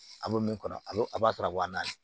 A bɛ min kɔnɔ a bɛ a b'a sɔrɔ waa naani